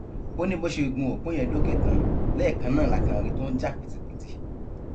ó ní bó ṣe gun opó yẹn dókè tán lẹẹkan náà la kàn rí i tó ń jà pìtìpìtì